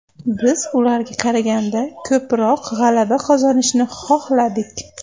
Biz ularga qaraganda ko‘proq g‘alaba qozonishni xohladik.